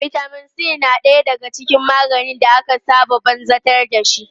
Vitamin C na ɗaya daga cikin maganin da aka saba banzabtar dashi.